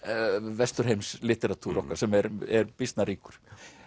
Vesturheims litteratúr okkar sem er býsna ríkur